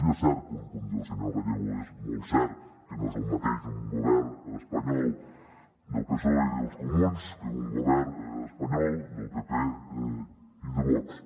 i és cert com diu el senyor gallego és molt cert que no és el mateix un govern espanyol del psoe i dels comuns que un govern espanyol del pp i de vox